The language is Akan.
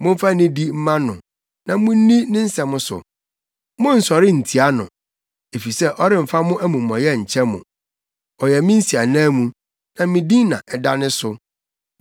Momfa nidi mma no na munni ne nsɛm so; monnsɔre ntia no, efisɛ ɔremfa mo amumɔyɛ nkyɛ mo. Ɔyɛ me nsiananmu, na me din na ɛda ne so.